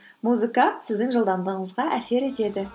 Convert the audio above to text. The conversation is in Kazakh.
музыка сіздің жылдамыңызға әсер етеді